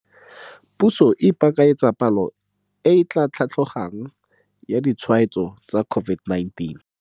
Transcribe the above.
Puso e ipakanyetsa palo e etla tlhatlogang ya ditshwaetso tsa COVID-19.